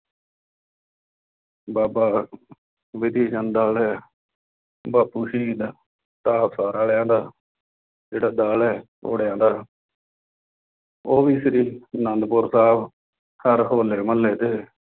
ਬਾਬਾ ਵਿਧੀਚੰਦ ਵਾਲੇ, ਬਾਪੂ ਸ਼ਹੀਦ ਢਾਹਬਸਰ ਵਾਲਿਆਂ ਦਾ, ਜਿਹੜਾ ਦਲ ਹੈ ਘੋੜਿਆਂ ਦਾ ਉਹ ਵੀ ਸ਼੍ਰੀ ਆਂਨੰਦਪੁਰ ਸਾਹਿਬ ਹਰ ਹੌਲੇ ਮਹੱਲੇ ਤੇ